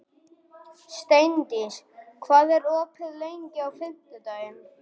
Steindís, hvað er opið lengi á fimmtudaginn?